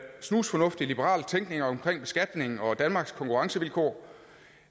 snusfornuftig liberal tænkning omkring beskatning og danmarks konkurrencevilkår